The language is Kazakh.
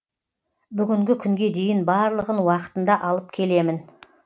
бүгінгі күнге дейін барлығын уақытында алып келемін